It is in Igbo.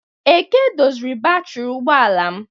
Eke doziri batrị ụgbọ ala m